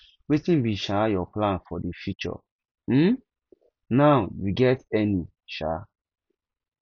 wetin be um your plan for di future um now you get any um